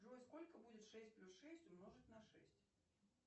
джой сколько будет шесть плюс шесть умножить на шесть